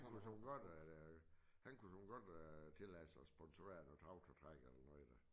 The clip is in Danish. Han kunne sørme godt øh han kunne sørme godt øh tillade sig at sponsorere noget traktor træk eller noget